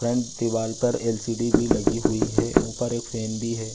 Front दीवाल पर LCD. भी लगी हुई है ऊपर भी एक फेन है।